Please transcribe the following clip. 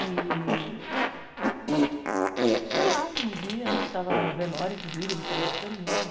E... Sei lá, um dia a gente estava num velório, inclusive, ele falou isso para mim.